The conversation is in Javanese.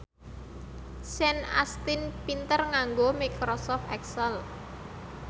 Sean Astin pinter nganggo microsoft excel